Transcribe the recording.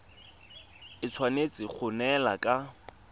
e tshwanetse go neelana ka